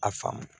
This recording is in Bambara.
A faamu